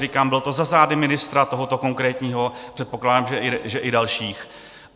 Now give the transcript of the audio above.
Říkám, bylo to za zády ministra, tohoto konkrétního, předpokládám, že i dalších.